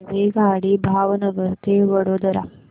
रेल्वेगाडी भावनगर ते वडोदरा